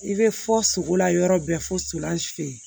I bɛ fɔ sogo la yɔrɔ bɛɛ folan si